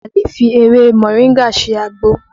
A lè fi ewé moringa ṣe àgbo